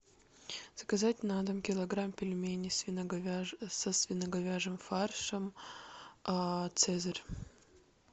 заказать на дом килограмм пельменей со свино говяжьим фаршем цезарь